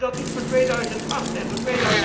Waarom doen we dat niet voor 2008 en voor